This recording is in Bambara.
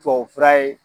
Tubabufura ye